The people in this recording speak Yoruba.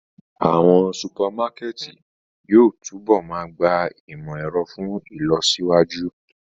Awọn supamakẹti yóò tunbọ máa gba imọ-ẹrọ fun ilọsiwaju.